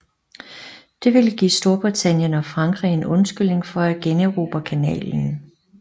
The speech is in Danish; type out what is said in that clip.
Det ville give Storbritannien og Frankrig en undskyldning for at generobre kanalen